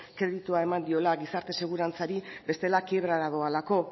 kreditua eman diola gizarte segurantzari bestela kiebrara doalako